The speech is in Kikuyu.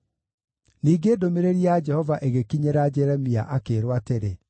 Ningĩ ndũmĩrĩri ya Jehova ĩgĩkinyĩra Jeremia, akĩĩrwo atĩrĩ: